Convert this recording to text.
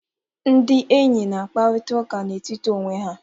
Ndị enyi na-akparịta ụka n'etiti onwe ha.